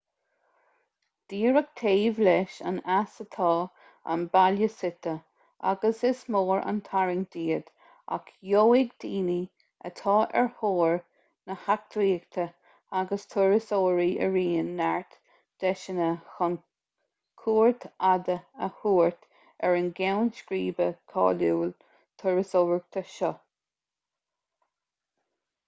díreach taobh leis an eas atá an baile suite agus is mór an tarraingt iad ach gheobhaidh daoine atá ar thóir na heachtraíochta agus turasóirí araon neart deiseanna chun cuairt fhada a thabhairt ar an gceann scríbe cáiliúil turasóireachta seo